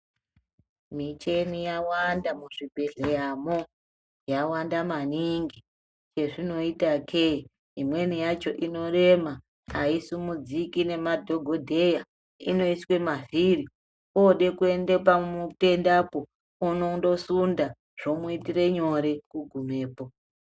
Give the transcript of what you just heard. Michini yawanda muzvibhehleyamwo yawanda maningi chezvinoitake imweni yacho inorema haisimudziki nemadhokodheya inoiswe mavhiri ode kuenda pamutenda po unondosunda zvomuitira nyore kugumepo.